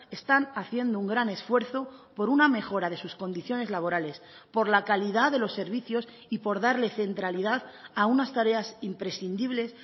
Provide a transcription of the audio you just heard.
están haciendo un gran esfuerzo por una mejora de sus condiciones laborales por la calidad de los servicios y por darle centralidad a unas tareas imprescindibles